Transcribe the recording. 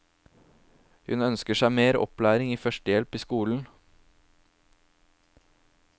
Hun ønsker seg mer opplæring i førstehjelp i skolen.